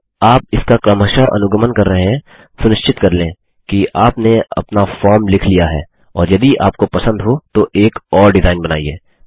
यदि आप इसका क्रमशः अनुगमन कर रहे हैं सुनिश्चित कर लें कि आपने अपना फॉर्म लिख लिया है और यदि आपको पसंद हो तो एक और डिजाइन बनाइए